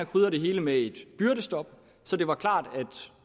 krydret det hele med et byrdestop så det var klart at